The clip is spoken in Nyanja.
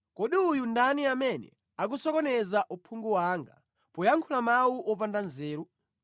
“Kodi uyu ndani amene akusokoneza uphungu wanga poyankhula mawu opanda nzeru?